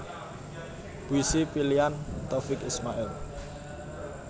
Puisi Pilihan Taufiq Ismail